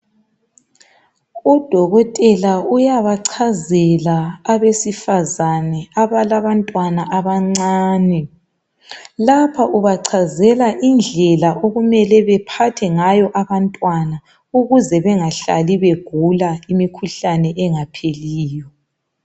Udokotela uyabachazela abesifazana abalabantwana abancane lapha ubachazela indlela okumele bephathe ngayo abantwana ukuze bengahlali begula imikhuhlane engapheliyo.